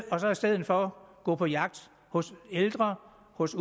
og så i stedet for gå på jagt hos de ældre hos